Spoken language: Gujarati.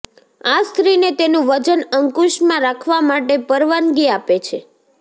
આ સ્ત્રીને તેનું વજન અંકુશમાં રાખવા માટે પરવાનગી આપે છે